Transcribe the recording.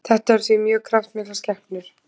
Þetta eru því mjög kraftmiklar skepnur.